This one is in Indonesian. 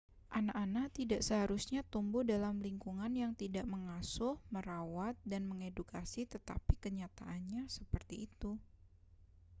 anak-anak tidak seharusnya tumbuh dalam lingkungan yang tidak mengasuh merawat dan mengedukasi tetapi kenyataannya seperti itu